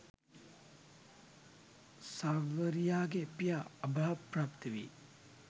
සාවරියාගේ පියා අභාවප්‍රාප්ත වී